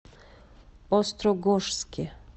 острогожске